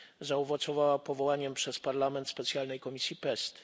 zaowocowała powołaniem przez Parlament specjalnej komisji PEST.